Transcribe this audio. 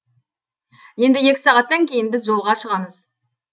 енді екі сағаттан кейін біз жолға шығамыз